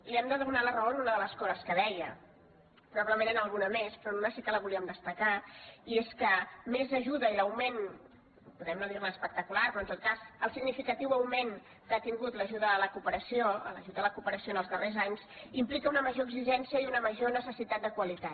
li hem de donar la raó en una de les coses que deia probablement en alguna més però una sí que la volíem destacar i és que més ajuda i l’augment podem no dir ne espectacular però en tot cas el significatiu augment que ha tingut l’ajut a la cooperació els darrers anys impliquen una major exigència i una major necessitat de qualitat